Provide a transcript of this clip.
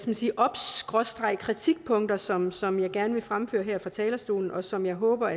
man sige obs kritikpunkter som som jeg gerne vil fremføre her fra talerstolen og som jeg håber